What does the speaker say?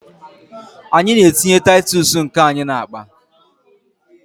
Anyị na-etinye titus nke anyị n'akpa.